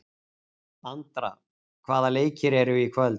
Andra, hvaða leikir eru í kvöld?